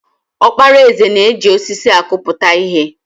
Okpara eze na-eji osisi akputa ihe.